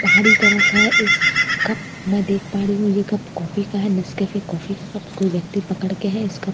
बाहरी तरफ है इस कप मैं देख पा रही हूँ ये कप कॉफी का है नेसके कॉफी का कप कोई व्यक्ति पकड़ के है इस कप को --